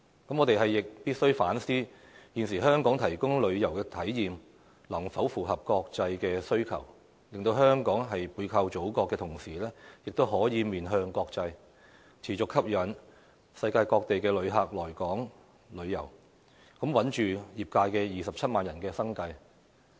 我們亦必須反思，現時香港提供的旅遊體驗，能否符合國際的需求，令香港在背靠祖國的同時，亦可面向國際，持續吸引世界各地的旅客來港旅遊，穩住業界27萬人的生計。